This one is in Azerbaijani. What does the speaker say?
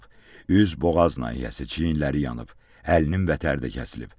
Üz, boğaz nahiyəsi, çiyinləri yanıb, əlinin vətəri də kəsilib.